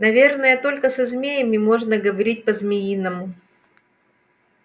наверное только со змеями можно говорить по-змеиному